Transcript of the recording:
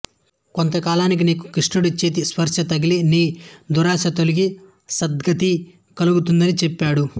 కొంతకాలానికి నీకు శ్రీకృష్ణుడి చేతి స్పర్శ తగిలి నీ దుర్దశ తొలగి సద్గతి కలుగుతుంది అని చెప్పాడు